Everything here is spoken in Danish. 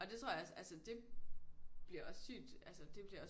Og det tror jeg også altså det bliver også sygt altså det bliver også